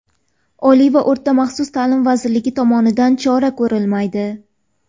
Oliy va o‘rta maxsus ta’lim vazirligi tomonidan chora ko‘rilmaydi.